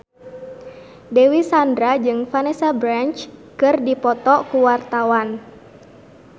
Dewi Sandra jeung Vanessa Branch keur dipoto ku wartawan